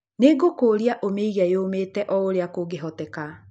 nĩ ngũkũria ũmĩige yomete o ũrĩa kũngĩhoteka